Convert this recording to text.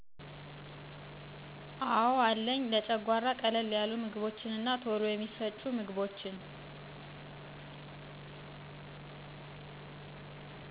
አዎ አለኝ , ለጨጓራ ቀለል ያሉ ምግቦች እና ቶሎ የሚፈጩ ምግቦችን